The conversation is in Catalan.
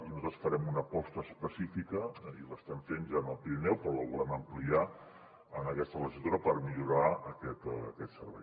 i nosaltres farem una aposta específica i l’estem fent ja en el pirineu però la volem ampliar en aquesta legislatura per millorar aquest servei